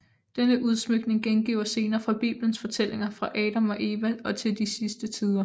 Denne udsmykning gengiver scener fra bibelens fortællinger fra Adam og Eva og til de sidste tider